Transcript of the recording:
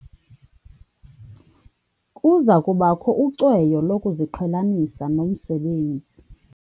Kuza kubakho ucweyo lokuziqhelanisa nomsebenzi.